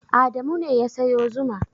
Adamu ne ya sayo zuma.